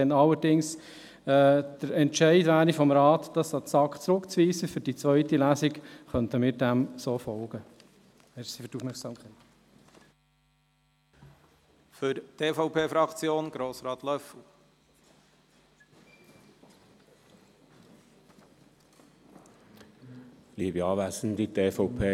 Würde der Entscheid des Rats allerdings auf Rückweisung an die SAK hinsichtlich der zweiten Lesung lauten, könnten wir diesem so folgen.